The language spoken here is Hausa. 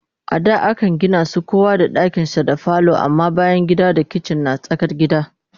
A da Akan Gina su kowa da dakinshinda falo amma bayangida da kitchen na tsakar gida